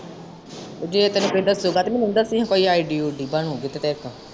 ਜੇ ਤੈਨੂੰ ਕਹਿੰਦਾ ਕੋਇ ਗੱਲ ਨੀ ਮਿਲਜੁਗੀ ਕੋਇ ID ਉਈਦੀ ਬਣੇਗੀ ਇਕ।